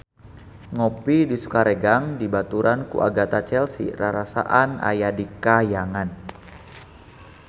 Ngopi di Sukaregang dibaturan ku Agatha Chelsea rarasaan aya di kahyangan